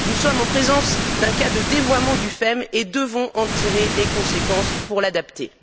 Nous sommes en présence d'un cas de dévoiement du FEM et devons en tirer les conséquences pour l'adapter.